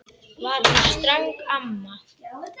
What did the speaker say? Var hún ströng mamma?